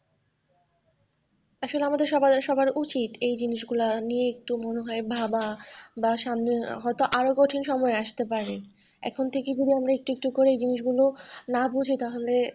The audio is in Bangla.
আসলে আমাদের সবার সবার ভাবা উচিত এই জিনিসগুলো নিয়ে একটু মনে হয় ভাব বা সামনে আরো হযতো আর ও কঠিন সময় আসতে পারে এখন থেকেই যদি আমরা একটু একটু করে এই জিনিস গুলো না বুঝি তাহলে।